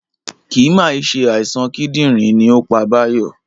Kì mà í se àìsàn kídìrín ni ó pa Bayo